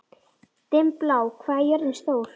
Dimmblá, hvað er jörðin stór?